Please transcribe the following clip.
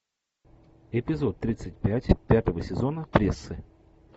эпизод тридцать пять пятого сезона прессы